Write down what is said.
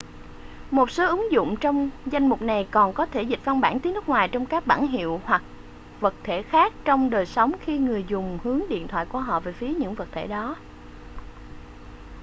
một số ứng dụng trong danh mục này còn có thể dịch văn bản tiếng nước ngoài trong các bảng hiệu hoặc vật thể khác trong đời sống khi người dùng hướng điện thoại của họ về phía những vật thể đó